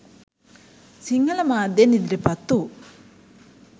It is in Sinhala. සිංහල මාධ්‍යයෙන් ඉදිරිපත් වූ